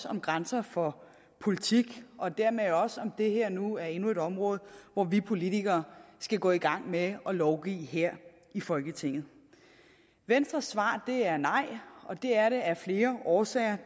om grænser for politik og dermed også om om det her nu er endnu et område hvor vi politikere skal gå i gang med at lovgive her i folketinget venstres svar er nej og det er det af flere årsager